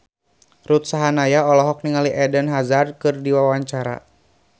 Ruth Sahanaya olohok ningali Eden Hazard keur diwawancara